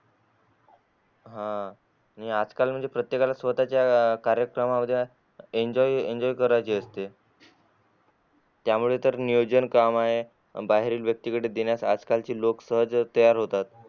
आह आणि आजकाल म्हणजे प्रत्येकाला स्वतःच्या अह कार्यक्रमांमध्ये enjoy enjoy करायचे असते त्यामुळे तर नियोजन काम आहे बाहेरील व्यक्तीकडे देण्याची आजकालची लोक सहजच तयार होतात.